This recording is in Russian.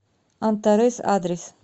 антарес адрес